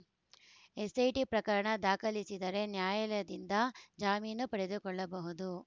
SIT ಪ್ರಕರಣ ದಾಖಲಿಸಿದರೆ ನ್ಯಾಯಾಲಯದಿಂದ ಜಾಮೀನು ಪಡೆದುಕೊಳ್ಳಬಹುದು